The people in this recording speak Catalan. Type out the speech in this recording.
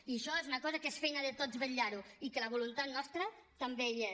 i això és una cosa que és feina de tots vetllar ho i que la voluntat nostra també hi és